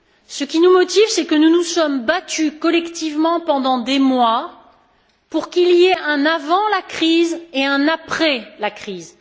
Ce qui nous motive, c'est que nous nous sommes battus collectivement pendant des mois pour qu'il y ait un avant la crise et un après la crise.